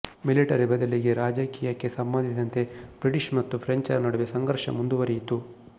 military ಬದಲಿಗೆ ರಾಜಕೀಯಕ್ಕೆ ಸಂಬಂಧಿಸಿದಂತೆ ಬ್ರಿಟಿಷ್ ಮತ್ತು ಪ್ರೆಂಚರ ನಡುವೆ ಸಂಘರ್ಷ ಮುಂದುವರಿಯಿತು